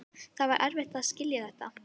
Það var erfitt að skilja þetta.